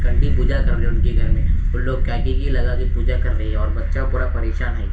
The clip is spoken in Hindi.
आंटी पूजा कर रहे हैं उनके घर में | उनलोग लगा के पूजा कर रहे हैं और बच्चा पूरा परेशान है।